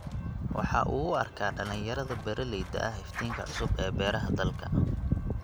Waxa uu u arkaa dhalinyarada beeralayda ah iftiinka cusub ee beeraha dalka.